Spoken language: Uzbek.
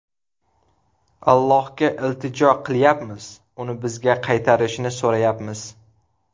Allohga iltijo qilyapmiz, uni bizga qaytarishini so‘rayapmiz.